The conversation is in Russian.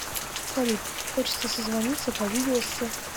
салют хочется созвониться по видео с